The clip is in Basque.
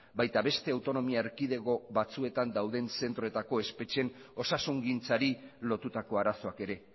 baita beste autonomia erkidego batzuetan dauden zentroetako espetxeen osasungintzari lotutako arazoak ere